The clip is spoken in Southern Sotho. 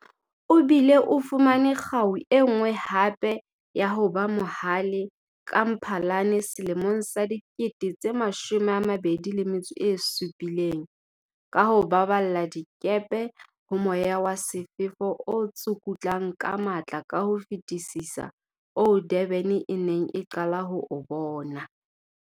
O bile o fumane kgau e nngwe hape ya "ho ba mo hale" ka Mphalane 2017, ka ho baballa dikepe ho moya wa sefefo o tsukutlang ka matla ka ho fetisisa oo Durban e neng e qala ho o bona.